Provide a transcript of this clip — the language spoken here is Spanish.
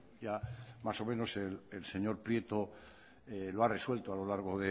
ya más o menos el señor prieto lo ha resuelto a lo largo